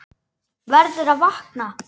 Verður að vakna.